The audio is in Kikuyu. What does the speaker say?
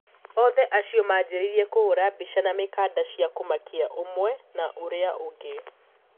Othe acio maanjirie kuhura bica na mikada cia kumakia umwe na uria ungi.